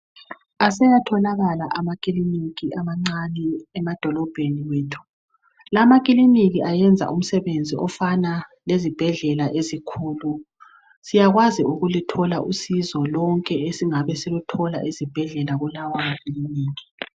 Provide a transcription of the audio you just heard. Aseyatholakala amakiliniki amancane emadolobheni wethu. Lamakiliniki ayenza umsebenzi ofana lezibhedlela ezinkulu. Siyakwazi ukuluthola usizo lonke esingabe siluthola ezibhedlela kulawa makiliniki.